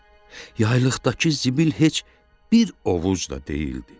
Yaylıqdakı zibil heç bir ovuc da deyildi.